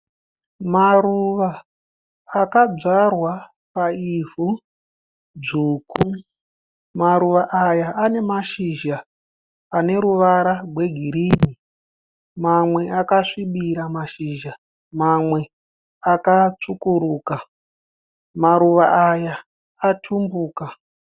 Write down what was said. Maruva akadzvarwa paivhu dzvuku. Maruva aya ane mashizha ane ruvara rwegirini mamwe akasvibira mashizha mamwe akatsvukuruka. Maruva aya atumbuka.